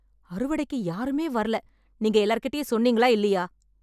அறுவடைக்கு யாருமே வரல, நீங்க எல்லார்கிட்டயும் சொன்னீங்களா இல்லையா?